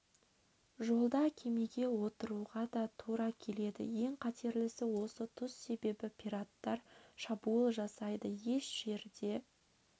жолда кемеге отыруға да тура келеді ең қатерлісі осы тұс себебі пираттар шабуыл жасайды еш жерде